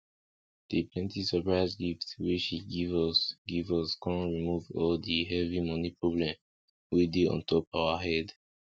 the plenty surprise gift wey she give us give us con remove all di the heavy money problem wey dey ontop our head